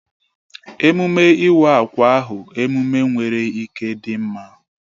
Emume iwa akwa ahụ emume nwere ike dị mma